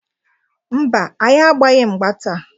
Mba, anyị agbaghị mgba taa.